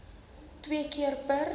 twee keer per